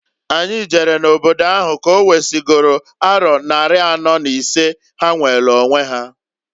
Anyi jere n'obodo ahụ ka owesigolu aro nnari anọọ n'isee ha nweelu onwe ha.